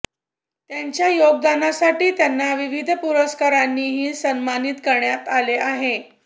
त्यांच्या योगदानासाठी त्यांना विविध पुरस्कारांनीही सन्मानित करण्यात आले आहे